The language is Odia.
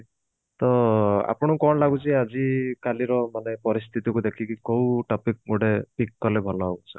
ତ ଆପଣଙ୍କୁ କଣ ଲାଗୁଛି ଯେ ଆଜି କାଲି ର ପରିସ୍ଥିତି କୁ ଦେଖିକି କୋଉ topic ଗୋଟେ pick କଲେ ଭଲ ହବ sir